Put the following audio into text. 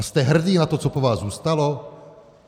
A jste hrdý na to, co po vás zůstalo?